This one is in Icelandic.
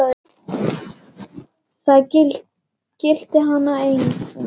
Maður varð bara að lifa.